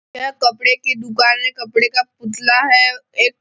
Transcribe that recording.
यह कपड़े की दुकान है कपड़े का पुतला है एक--